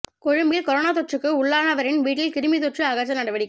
கொழும்பில் கொரோனா தொற்றுக்கு உள்ளானவரின் வீட்டில் கிருமி தொற்று அகற்றல் நடவடிக்கை